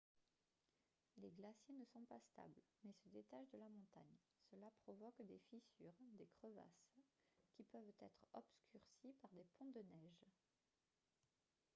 les glaciers ne sont pas stables mais se détachent de la montagne cela provoque des fissures des crevasses qui peuvent être obscurcies par des ponts de neige